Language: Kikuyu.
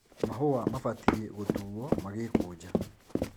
Mahũa mabatie gũtuo magĩkũja .